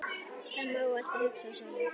Það má alltaf hugsa svona.